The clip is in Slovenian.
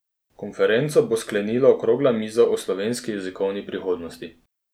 Konferenco bo sklenila okrogla miza o slovenski jezikovni prihodnosti.